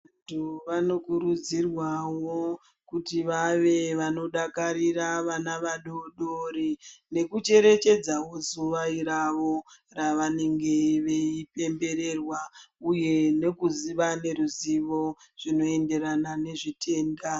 Vantu vanokurudzirwavo kuti vave vanodakarira vana vadodori. Nekucherechedzavo zuva ravo ravanenge veipembererwa, uye nekuziva neruzivo zvinoenderana nezvitenda.